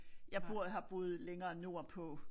Jeg bor har boet længere nordpå